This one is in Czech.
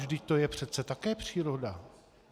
Vždyť to je přece také příroda.